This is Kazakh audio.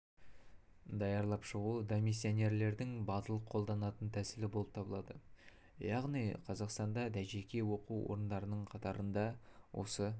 даярлап шығу дамиссионерлердің батыл қолданатын тәсілі болып табылады яғни қазақстанда дажеке оқу орындарының қатарында осы